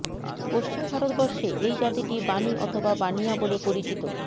পশ্চিম ভারতবর্ষে এই জাতিটি বানি অথবা বানিয়া বলে পরিচিত